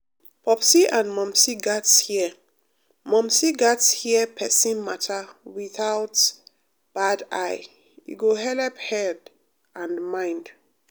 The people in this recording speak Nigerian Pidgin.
popsi and momsi gatz hear momsi gatz hear persin matter without bad eye e go helep head and mind.